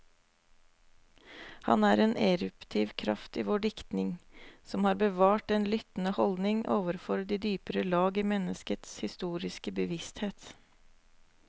Han er en eruptiv kraft i vår diktning, som har bevart den lyttende holdning overfor de dypere lag i menneskets historiske bevissthet.